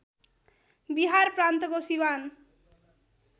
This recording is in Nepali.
बिहार प्रान्तको सिवान